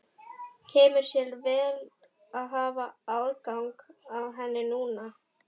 Kemur sér vel að hafa aðgang að henni núna!